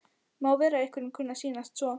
Má vera að einhverjum kunni að sýnast svo.